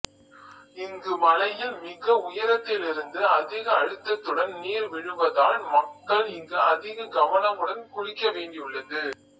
இங்கு மலையில் மிக உயரத்திலிருந்து அதிக அழுத்தத்துடன் நீர் விழுவதால் மக்கள் இங்கு அதிக கவனமுடன் குளிக்க வேண்டியுள்ளது